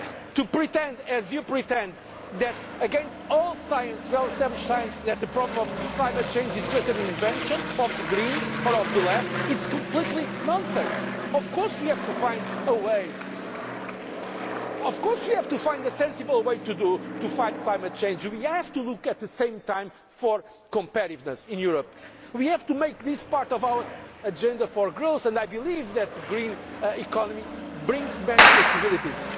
who are paid to say the opposite. To pretend, as you pretend, against all well established science, that the problem of climate change is just an invention of the Greens or of the Left, is complete nonsense. Of course we have to find a way, of course we have to find a sensible way to fight climate change. And we have to look at the same time at competitiveness in Europe. We have to make this part of our agenda for growth and I believe that the